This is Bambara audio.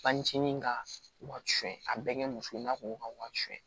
Fanicini ka wari su a bɛɛ kɛ muso ye n'a ko ka wari su